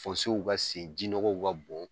ka sen ,jinɔgɔw ka bɔ